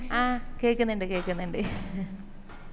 അഹ് കേക്ക്നിണ്ട് കേക്ക്നിണ്ട്